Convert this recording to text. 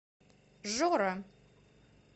жора